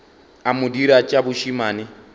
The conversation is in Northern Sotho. a mo dira tša bošemane